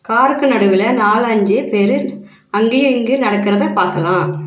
காருக்கு நடுவுல நாலு ஆஞ்சு பெரு அங்கையு இங்கியு நடக்கறத பாக்கலா.